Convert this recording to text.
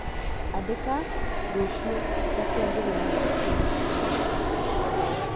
Andĩka rũciũ ta kĩambĩrĩria kĩa irio ciakwa